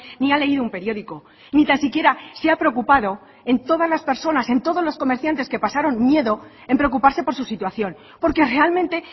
ni ha leído un periódico ni tan siquiera se ha preocupado en todas las personas en todos los comerciantes que pasaron miedo en preocuparse por su situación porque realmente